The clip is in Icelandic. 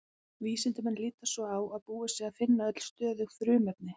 Vísindamenn líta svo á að búið sé að finna öll stöðug frumefni.